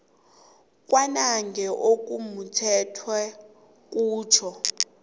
kwanange okumumethweko kutjho